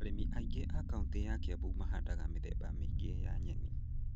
Arĩmi aingĩ a kaunitĩ ya Kĩambu mahandaga mĩthemba mĩingĩ ya nyeni.